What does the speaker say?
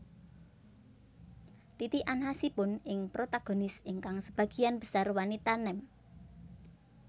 Titikan khasipun ing protagonis ingkang sebagian besar wanita nem